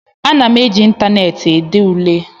Ana m eji ịntaneetị ede ule